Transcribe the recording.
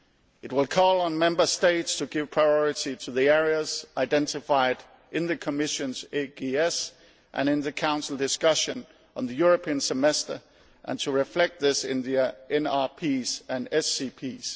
It will call on Member States to give priority to the areas identified in the Commission's AGS and in the Council discussion on the European Semester and to reflect this in the NRPs and SCPs.